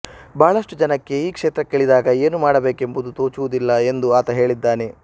ಬಹಳಷ್ಟು ಜನಕ್ಕೆ ಈ ಕ್ಷೇತ್ರಕ್ಕಿಳಿದಾಗ ಏನು ಮಾಡಬೇಕೆಂಬುದು ತೋಚುವುದಿಲ್ಲ ಎಂದು ಆತ ಹೇಳಿದ್ದಾನೆ